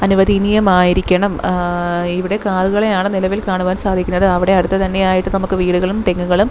അനുവദനീയമായിരിക്കണം ആഹ് ഇവിടെ കാറുകളെയാണ് നിലവിൽ കാണുവാൻ സാധിക്കുന്നത് അവിടെ അടുത്തു തന്നെയായിട്ട് വീടുകളും തെങ്ങുകളും--